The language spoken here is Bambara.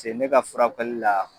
te ne ka furakɛli la.